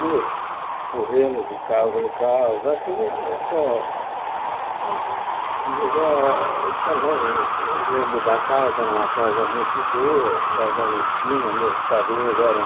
É, como correndo de casa em casa, Uhum mas eh também eu me lembro da casa, era uma casa muito boa, casa na esquina, meus padrinhos eram